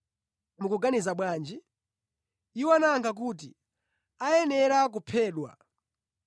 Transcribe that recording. Mukuganiza bwanji?” Iwo anayankha kuti, “Ayenera kuphedwa!”